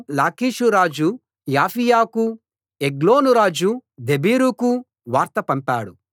లాకీషురాజు యాఫీయకూ ఎగ్లోను రాజు దెబీరుకూ వార్త పంపాడు